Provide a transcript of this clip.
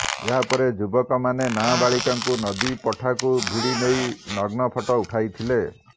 ଏହା ପରେ ଯୁବକମାନେ ନାବାଳିକାଙ୍କୁ ନଦୀପଠାକୁ ଭିଡ଼ି ନେଇ ନଗ୍ନ ଫଟୋ ଉଠାଇଥିଲେ